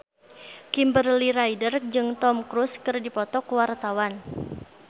Kimberly Ryder jeung Tom Cruise keur dipoto ku wartawan